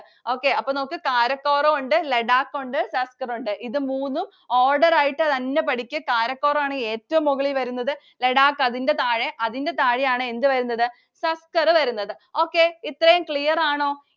okay അപ്പോൾ നമുക്ക് കാരക്കോറം ഉണ്ട്, ലഡാക്ക് ഉണ്ട്, സസ്കർ ഉണ്ട്. ഇത് മൂന്നും order ആയിട്ട് തന്നെ പഠിക്ക്. കാരക്കോറം ആണ് ഏറ്റവും മുകളിൽ വരുന്നത്. ലഡാക്ക് അതിന്റെ താഴെ. അതിന്റെ താഴെ ആണ് എന്ത് വരുന്നത്? സസ്കർ വരുന്നത്. okay ഇത്രയും clear ആണോ?